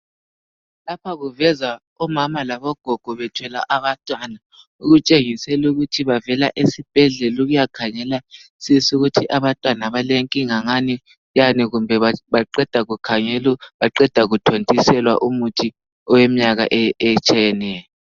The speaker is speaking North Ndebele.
Lapha kuveza omama labogogo bethwele abantwana okutshengisela ukuthi bavela esibhedlela ukuya khangelisisa ukuthi abantwana balenkinga ngani yani kumbe baqeda kukhangelwa baqeda kuthontiselwa umuthi oweminyaka etshiyeneyo